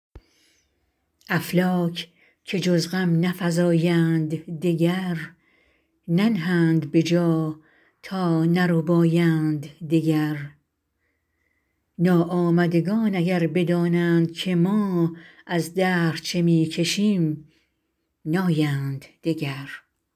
افلاک که جز غم نفزایند دگر ننهند به جا تا نربایند دگر ناآمدگان اگر بدانند که ما از دهر چه می کشیم نایند دگر